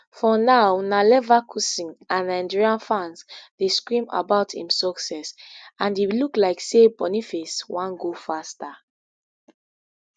for now na leverkusen and nigeria fans dey scream about im success and e look like say boniface wan go faster